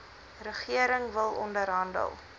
regering wil onderhandel